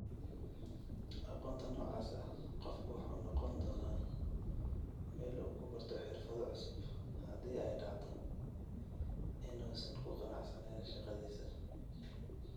Aqoonta noocaas ah, qofku wuxuu noqon doonaa meel uu ku barto xirfado cusub haddii ay dhacdo inuusan ku qanacsanayn shaqadiisa.